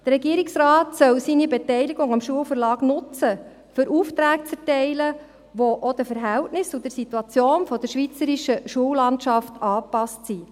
Der Regierungsrat soll seine Beteiligung am Schulverlag nutzen, um Aufträge zu erteilen, die auch den Verhältnissen und der Situation der schweizerischen Schullandschaft angepasst sind.